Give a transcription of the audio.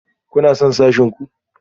Kuna son sashen ku?